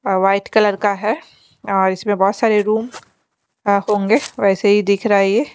और white colour का है और इसमें बहोत सारे रूम लॉक होंगे वैसे ही दिख रहा है ये--